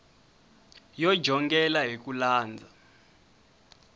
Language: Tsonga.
yo jongela hi ku landza